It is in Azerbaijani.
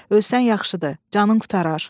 Ölsən yaxşıdır, canın qurtarar.